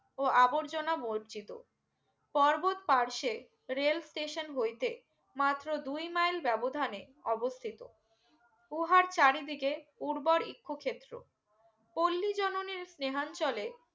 ও আবর্জনা মোর্জিত কোর্বত পার্শে rail station হইতে মাত্র দুই মেইল ব্যবধানে অবস্থিতি উহার চারিদিকে উর্বর এক্ষ ক্ষেত্র পল্লি জননী